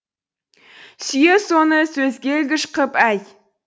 сүйеу соны сөзге ілгіш қып әй